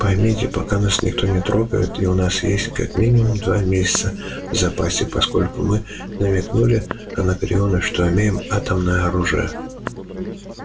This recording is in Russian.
поймите пока нас никто не трогает и у нас есть как минимум два месяца в запасе поскольку мы намекнули анакреону что имеем атомное оружие